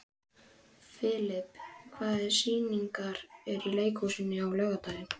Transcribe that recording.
Filip, hvaða sýningar eru í leikhúsinu á laugardaginn?